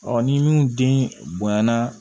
ni minnu den bonyana